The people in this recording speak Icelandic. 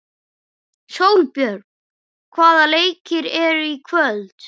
Sólbjörn, hvaða leikir eru í kvöld?